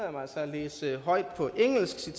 læse højt på engelsk